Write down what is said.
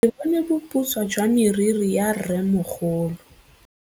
Ke bone boputswa jwa meriri ya rrêmogolo.